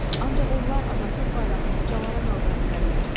Ancaq onlar azadlıq bayrağını ucalara qaldıra bilərlər.